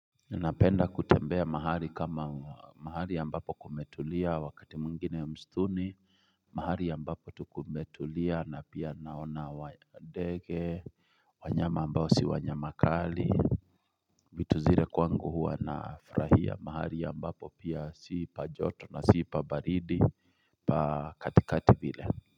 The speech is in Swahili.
Ninapenda kutembea mahali kama mahali ya ambapo kumetulia wakati mwingine mstuni, mahali ya ambapo tukumetulia na pia naona wadege, wanyama ambao si wanyamakali, vitu zire kwangu hua nafurahia mahali ya ambapo pia siipajoto na siipabaridi, pakatikati vile.